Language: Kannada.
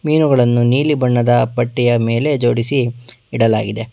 ಮೀನುಗಳನ್ನು ನೀಲಿ ಬಣ್ಣದ ಬಟ್ಟೆಯ ಮೇಲೆ ಜೋಡಿಸಿ ಇಡಲಾಗಿದೆ.